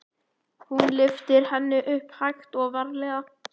Hún lyftir henni upp, hægt og varlega.